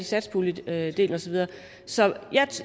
satspuljedelen og så videre så